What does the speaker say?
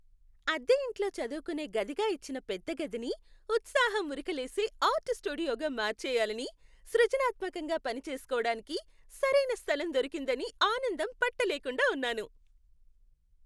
అద్దె ఇంట్లో చదువుకునే గదిగా ఇచ్చిన పెద్ద గదిని ఉత్సాహం ఉరకలేసే ఆర్ట్ స్టూడియోగా మార్చెయ్యాలని, సృజనాత్మకంగా పనిచేసుకోవటానికి సరైన స్థలం దొరికిందని ఆనందం పట్టలేకుండా ఉన్నాను.